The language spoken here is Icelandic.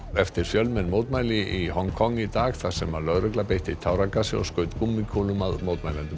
eftir fjölmenn mótmæli í Hong Kong í dag þar sem lögregla beitti táragasi og skaut gúmmíkúlum að mótmælendum